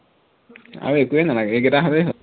আৰু একোৱেই নালাগে এইকেইটা হলেই হল